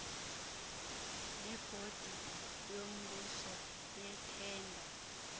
nebhodi yombuso yeethenda